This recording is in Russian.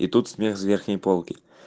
и тут смех с верхней полки